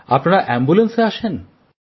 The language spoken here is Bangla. আপনারা অ্যাম্বুলেন্সে আসেন